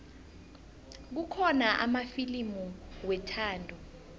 kukhona amafilimu wethando